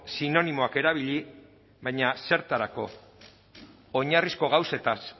sinonimoak erabili baina zertarako oinarrizko gauzez